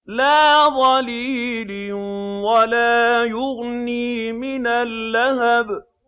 لَّا ظَلِيلٍ وَلَا يُغْنِي مِنَ اللَّهَبِ